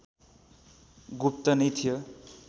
गुप्त नै थियो